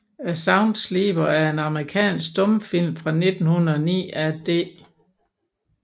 A Sound Sleeper er en amerikansk stumfilm fra 1909 af D